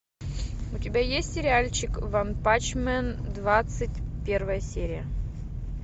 у тебя есть сериальчик ванпанчмен двадцать первая серия